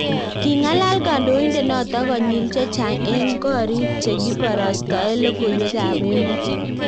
Kingalal Kandoindet noto konyil chechang' eng' korik chekibarastae lokoiwek ab emet